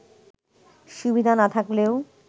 সুবিধা না থাকলেও